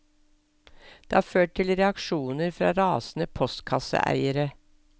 Det har ført til reaksjoner fra rasende postkasseeiere.